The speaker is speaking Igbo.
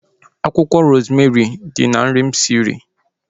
Akwụkwọ rozmerị dị na nri ahu mụ siri